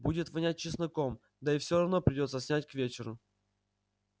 будет вонять чесноком да и все равно придётся снять к вечеру